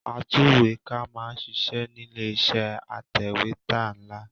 Atúwèékà máa ń ṣiṣẹ́ nílé iṣẹ́ atẹ̀wẹ́tà nla